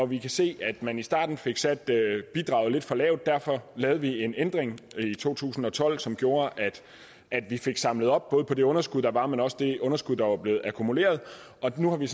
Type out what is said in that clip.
vi kan se at man i starten fik sat bidraget lidt for lavt derfor lavede vi en ændring i to tusind og tolv som gjorde at vi fik samlet op både på det underskud der var men også på det underskud der var blevet akkumuleret og nu har vi